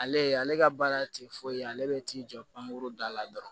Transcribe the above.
Ale ale ka baara tɛ foyi ye ale bɛ t'i jɔ pankuru da la dɔrɔn